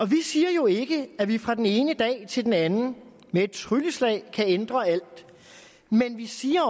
vi siger jo ikke at vi fra den ene dag til den anden med et trylleslag kan ændre alt men vi siger at